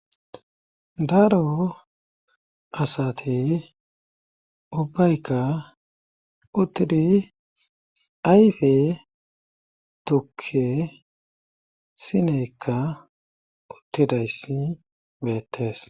daaro asate ubbaykka uttidi ayfe tukke sineykka uttidayssi beettees